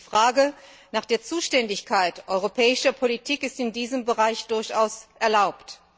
Die Frage nach der Zuständigkeit europäischer Politik ist in diesem Bereich durchaus erlaubt.